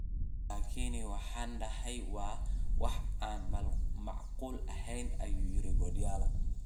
Laakiin waxaan dhahay waa wax aan macquul aheyn” ayuu yiri Guardiola.